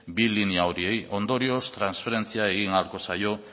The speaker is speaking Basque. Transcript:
bi linea horiei ondorioz transferentzia egin ahalko zaio